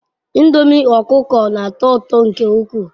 Ndomi okuko n'ato uto nke ukwu